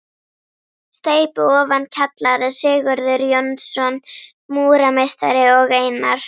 Steypu ofan kjallara: Sigurður Jónsson, múrarameistari og Einar